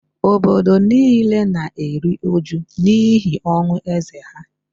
obodo nile na-eru uju n’ihi ọnwụ eze ha